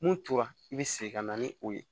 Mun tora i bɛ segin ka na ni o ye